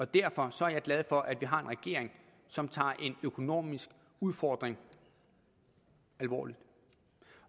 derfor er jeg glad for at vi har en regering som tager en økonomisk udfordring alvorligt